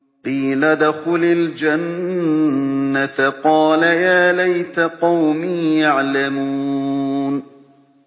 قِيلَ ادْخُلِ الْجَنَّةَ ۖ قَالَ يَا لَيْتَ قَوْمِي يَعْلَمُونَ